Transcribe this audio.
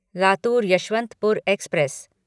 Latur Yesvantpur express